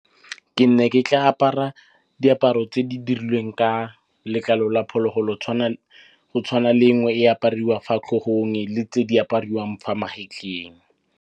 Ke ne ke tla apara diaparo tse di dirilweng ka letlalo la phologolo go tshwana le nngwe e apariwa fa tlhogong le tse di apariwang fa magetleng.